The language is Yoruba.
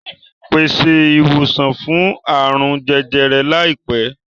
Pèsè ìwòsàn fún àrùn jẹjẹrẹ láìpẹ́!